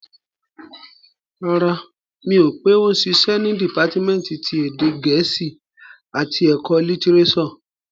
Rárá, mi ò pé ó ń ṣiṣẹ́ ní dìpátímẹ́ǹtì ti èdè gẹ̀ẹ́sì àti ẹ̀kọ́ litirẹ́sọ̀